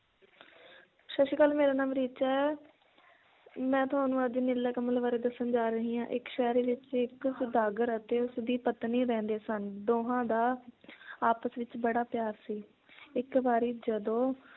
ਸਤ ਸ਼੍ਰੀ ਅਕਾਲ ਮੇਰਾ ਨਾਮ ਰੀਚਾ ਹੈ ਮੈ ਤੁਹਾਨੂੰ ਅੱਜ ਨੀਲਾ ਕਮਲ ਬਾਰੇ ਦੱਸਣ ਜਾ ਰਹੀ ਹਾਂ, ਇੱਕ ਸ਼ਹਿਰ ਵਿਚ ਇੱਕ ਸੌਦਾਗਰ ਅਤੇ ਉਸ ਦੀ ਪਤਨੀ ਰਹਿੰਦੇ ਸਨ ਦੋਹਾਂ ਦਾ ਆਪਸ ਵਿਚ ਬੜਾ ਪਿਆਰ ਸੀ ਇੱਕ ਵਾਰੀ ਜਦੋਂ